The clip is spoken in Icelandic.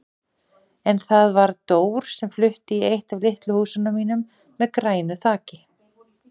En það var Dór sem flutti í eitt af litlu húsunum mínum með grænu þaki.